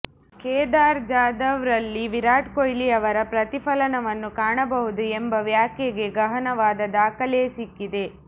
ಕೇದಾರ್ ಜಾಧವ್ರಲ್ಲಿ ವಿರಾಟ್ ಕೊಹ್ಲಿಯವರ ಪ್ರತಿಫಲನವನ್ನು ಕಾಣಬಹುದು ಎಂಬ ವ್ಯಾಖ್ಯೆಗೆ ಗಹನವಾದ ದಾಖಲೆಯೇ ಸಿಕ್ಕಿದೆ